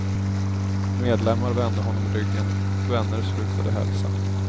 Medlemmar vände honom ryggen, vänner slutade hälsa.